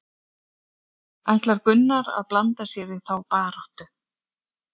Ætlar Gunnar að blanda sér í þá baráttu?